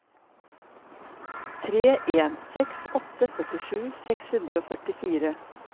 tre en seks åtte førtisju seks hundre og førtifire